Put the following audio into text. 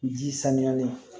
Ji sanuyali